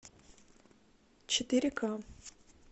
четыре ка